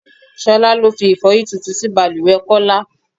Ṣolá ló fi Ifọ́yín tuntun sí bàlùwẹ̀ Kọ́lá.